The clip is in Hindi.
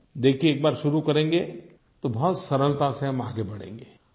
देखिए एक बार शुरू करेंगे तो बहुत सरलता से हम आगे बढ़ेंगे